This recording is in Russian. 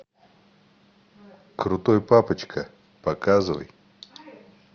крутой папочка показывай